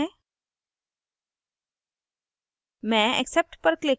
इसको स्वीकार करते हैं